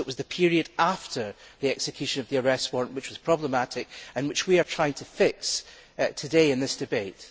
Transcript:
It was the period after the execution of the arrest warrant which was problematic, and which we are trying to fix today in this debate.